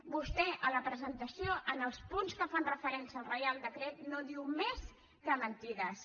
vostè a la presentació en els punts que fan referència al reial decret no diu més que mentides